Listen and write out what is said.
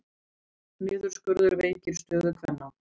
Niðurskurður veikir stöðu kvenna